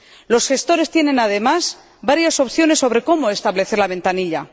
Los gestores disponen, además, de varias opciones sobre cómo establecer la ventanilla.